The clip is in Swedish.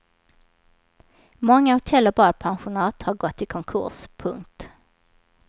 Många hotell och badpensionat har gått i konkurs. punkt